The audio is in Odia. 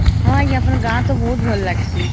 ହଁ ଆଂଜ୍ଞା ଅପଣଂକ ଗାଁ ତ ବହୁତ ଭଲ ଲଗସଇ